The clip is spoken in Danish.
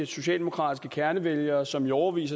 socialdemokratiske kernevælgere som i årevis